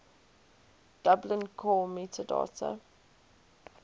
dublin core metadata